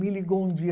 Me ligou um dia.